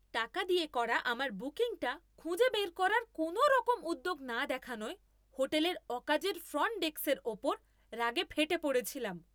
টাকা দিয়ে করা আমার বুকিংটা খুঁজে বের করার কোনওরকম উদ্যোগ না দেখানোয় হোটেলের অকাজের ফ্রন্ট ডেস্কের ওপর রাগে ফেটে পড়েছিলাম।